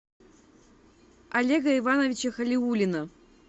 олега ивановича халиуллина